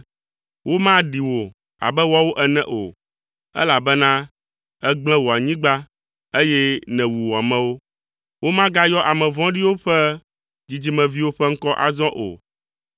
Womaɖi wò abe woawo ene o, elabena ègblẽ wò anyigba, eye nèwu wò amewo. Womagayɔ ame vɔ̃ɖiwo ƒe dzidzimeviwo ƒe ŋkɔ azɔ o.